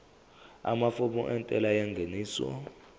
amafomu entela yengeniso